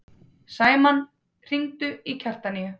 Sæmann, hringdu í Kjartaníu.